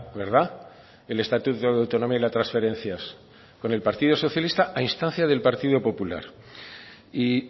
verdad el estatuto de autonomía y las transferencias con el partido socialista a instancia del partido popular y